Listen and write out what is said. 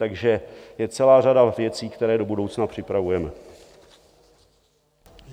Takže je celá řada věcí, které do budoucna připravujeme.